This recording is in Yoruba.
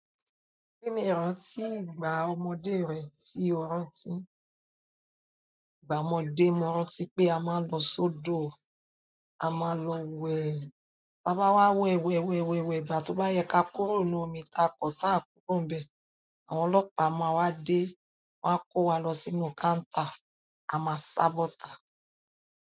Kí ni ìrántí ìgbà ọmọdé rẹ tí o rántí? Ìgbà ọmọdé mo rántí pé a máa ń lọ sódò, a máa ń lọ wẹ̀, tí a bá wá wẹ wẹ wẹ wẹ wẹ ìbà tó bá yẹ ká kúrò nínú omi takọ̀ tá a kúrò níbẹ̀, àwọn ọlọ́pàá máa wá dé wa kó wa lọ sínú káńtà, a máa sábọ̀ tà.